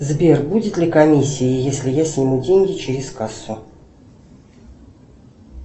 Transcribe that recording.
сбер будет ли комиссия если я сниму деньги через кассу